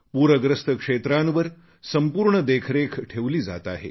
पूरग्रस्त क्षेत्रांवर संपूर्ण देखरेख ठेवली जात आहे